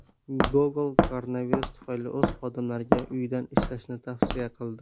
Google koronavirus tufayli o‘z xodimlariga uydan ishlashni tavsiya qildi.